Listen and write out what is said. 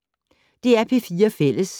DR P4 Fælles